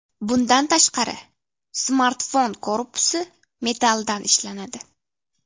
Bundan tashqari, smartfon korpusi metalldan ishlanadi.